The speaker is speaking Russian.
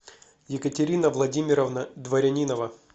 екатерина владимировна дворянинова